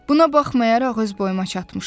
Buna baxmayaraq öz boyuma çatmışam.